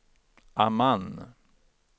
Amman